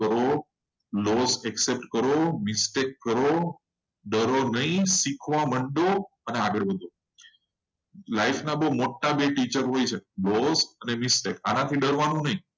લો accept કરો mistake કરો નહીં. ડરો નહીં concept સમજો. અને આગળ વધો લાઈફના મોટા desision હોય. mistake થી ડરવાનું નહીં.